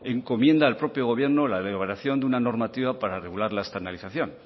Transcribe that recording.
encomienda al propio gobierno la elaboración de una normativa para regular la estandarización